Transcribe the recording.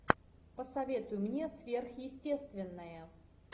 посоветуй мне сверхъестественное